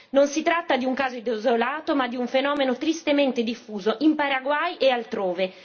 Non si tratta di un caso desolato, ma di un fenomeno tristemente diffuso, in Paraguay e altrove.